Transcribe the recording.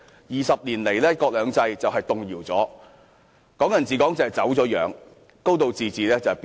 二十年來，"一國兩制"已經動搖，"港人治港"已經走樣，"高度自治"已經變形。